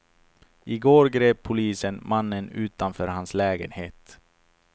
I går grep polisen mannen utanför hans lägenhet.